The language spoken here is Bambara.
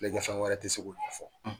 Filɛlikɛfɛn wɛrɛ tɛ segu k'o fɔ